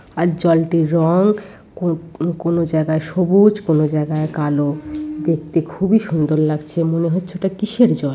আর জলটির রং কন কোন জায়গায় সবুজ কোন জায়গায় কালো দেখতে খুবই সুন্দর লাগছে মনে হচ্ছে ওটা কিসের জল ।